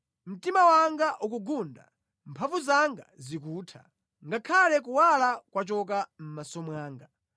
Mtima wanga ukugunda, mphamvu zanga zikutha; ngakhale kuwala kwachoka mʼmaso mwanga.